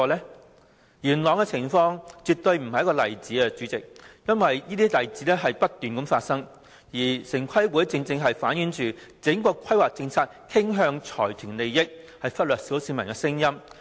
主席，元朗的情況絕非單一例子，因為這些情況不斷發生，城規會的做法正正反映整項規劃政策傾向財團利益，忽略小市民的聲音。